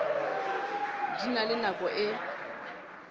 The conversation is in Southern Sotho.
di na le nako e